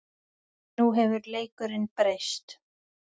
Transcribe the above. Nú hefur leikurinn breyst